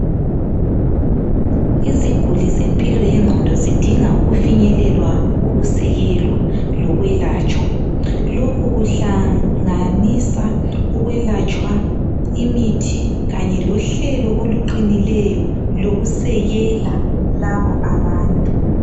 Iziguli zempilo yengqondo zidinga ukufinyelelwa ukusekelwa lokwelatshwa , lokhu kuhlanganisa ukwelatshwa , imithi kanye lohlelo oluqinileyo lokusekela labo abantu